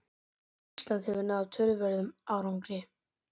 Ísland hefur náð töluverðum árangri